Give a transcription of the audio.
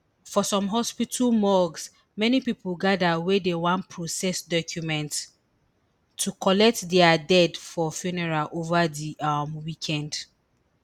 for some hospital morgues many pipo gather wey dem wan process documents to collect dia dead for funeral ova di um weekend